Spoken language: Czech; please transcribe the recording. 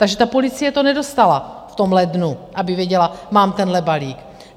Takže ta policie to nedostala v tom lednu, aby věděla, mám tenhle balík.